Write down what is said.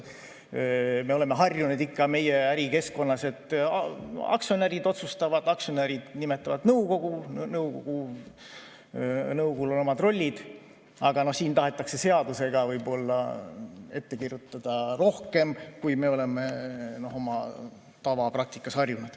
Me oleme ikka meie ärikeskkonnas harjunud, et aktsionärid otsustavad, aktsionärid nimetavad nõukogu, nõukogul on omad rollid, aga siin tahetakse seadusega võib-olla ette kirjutada rohkem, kui me oleme tavapraktikas harjunud.